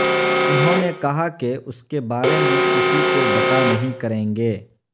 انہوں نے کہا کہ اس کے بارے میں کسی کو بتا نہیں کریں گے